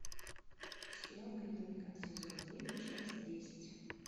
сериал клиника сезон девять часть десять